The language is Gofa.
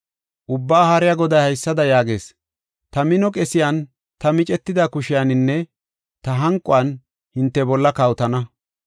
Ubbaa Haariya Goday haysada yaagees: “Ta mino qesiyan, ta micetida kushiyaninne ta hanquwan hinte bolla kawotana.